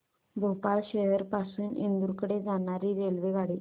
भोपाळ शहर पासून इंदूर कडे जाणारी रेल्वेगाडी